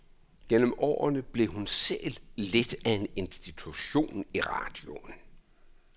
Gennem årene blev hun selv lidt af en institution i radioen.